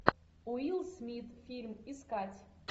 уилл смит фильм искать